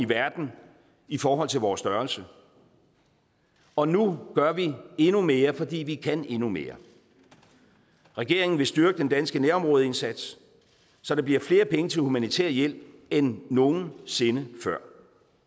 verden i forhold til vores størrelse og nu gør vi endnu mere fordi vi kan endnu mere regeringen vil styrke den danske nærområdeindsats så der bliver flere penge til humanitær hjælp end nogen sinde før